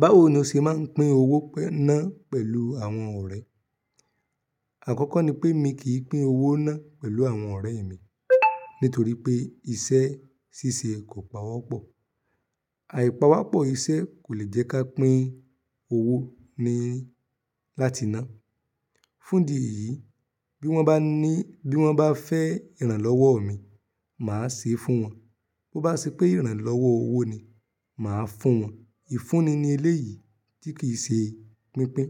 Báwo ni o ṣe máa ń pín owó náà pẹ̀lú àwọn ọ̀rẹ́? Àkọ́kọ́ ni pé èmi kì í pín owó náà pẹ̀lú àwọn ọ̀rẹ́ mi nítorí pé iṣẹ́ ṣíṣe kò pawọ́pọ̀. Àìpawọ́pọ̀ iṣẹ́ kò lè jẹ́ kí a pín owó ni láti ná. Fún ìdí yìí, bí wọ́n bá ní, bí wọ́n bá fẹ́ ìrànlọ́wọ́ mi, màá ṣe é fún wọn. Bo bá ṣe pé ìrànlọ́wọ́ owó ni, màá fún wọn. Ìfunni ni eléyìí tí kì í ṣe pínpín.